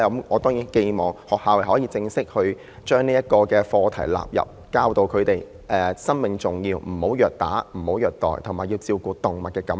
我當然寄望學校可以將動物正式納入課程內，教導學生生命寶貴，不要虐打、不要虐待，以及要照顧動物感受。